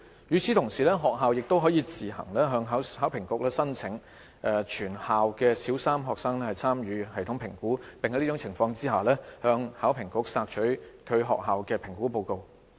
與此同時，學校可自行向考評局申請全校小三學生參與系統評估，並在此情況下可向考評局索取其學校的評估報告。